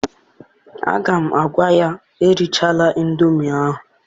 Aga m agwa ya, erichala ịndomi ahụ!